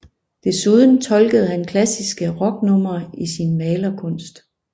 Desuden tolkede han klassiske rocknumre i sin malerkunst